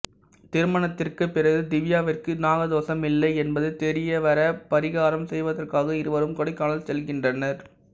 திருமணத்திற்கு பிறகு திவ்யாவிற்கு நாக தோஷம் இல்லை என்பது தெரிய வர பரிகாரம் செய்வதற்காக இருவரும் கொடைக்கானல் செல்கின்றனர்